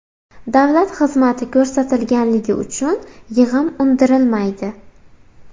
Davlat xizmati ko‘rsatilganligi uchun yig‘im undirilmaydi.